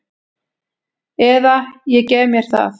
Eða ég gef mér það.